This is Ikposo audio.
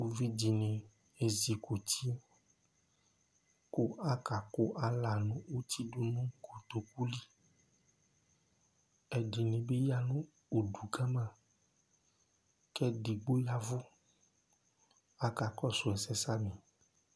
Ʋvidí ni ezikʋti kʋ aka kʋ ala'a nʋ ʋti du nʋ kotoku li Ɛdí ni bi ya nʋ ʋdu kama kʋ ɛdigbo yavʋ, akakɔsu ɛsɛ samì